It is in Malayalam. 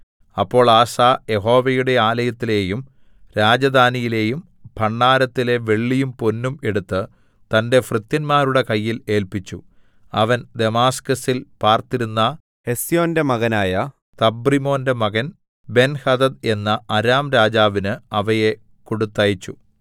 അപ്പോൾ ആസാ യഹോവയുടെ ആലയത്തിലെയും രാജധാനിയിലെയും ഭണ്ഡാരത്തിലെ വെള്ളിയും പൊന്നും എടുത്ത് തന്റെ ഭൃത്യന്മാരുടെ കയ്യിൽ ഏല്പിച്ചു അവൻ ദമാസ്കസിൽ പാർത്തിരുന്ന ഹെസ്യോന്റെ മകനായ തബ്രിമ്മോന്റെ മകൻ ബെൻഹദദ് എന്ന അരാംരാജാവിന് അവയെ കൊടുത്തയച്ചു